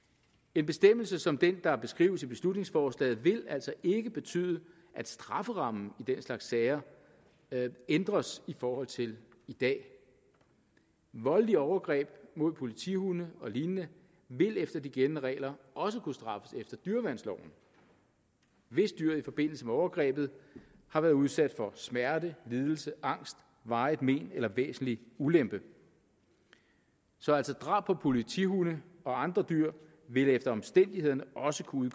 en bestemmelse som den der beskrives i beslutningsforslaget vil altså ikke betyde at strafferammen i den slags sager ændres i forhold til i dag voldelige overgreb mod politihunde og lignende vil efter de gældende regler også kunne straffes efter dyreværnsloven hvis dyret i forbindelse med overgrebet har været udsat for smerte lidelse angst varigt men eller væsentlig ulempe så altså drab på politihunde og andre dyr vil efter omstændighederne også kunne